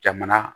Jamana